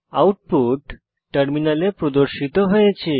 output টার্মিনালে প্রদর্শিত হয়েছে